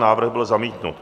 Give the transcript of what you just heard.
Návrh byl zamítnut.